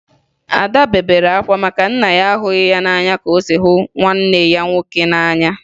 Ada bere akwa maka na nna ya ahụghị ya n'anya ka o si hụ nwanne ya nwoke n'anya